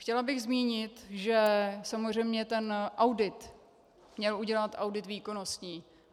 Chtěla bych zmínit, že samozřejmě ten audit měl udělat audit výkonností.